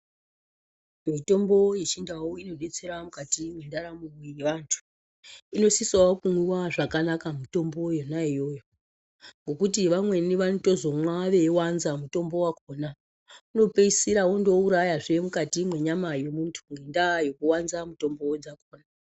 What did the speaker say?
Mitombo yechindau inodetsera mukati mendaramo yevantu inosisa kumwiwa zvakanaka mitombo yona iyoyo ngekuti vamweni vanozomwa veiwanza mutombo wakhona unopeisira wouraya mukati menyama dzemuntu nenyaya yekuwanza mutombo.